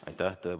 Aitäh!